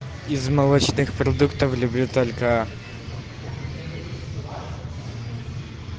из молочных продуктов люблю только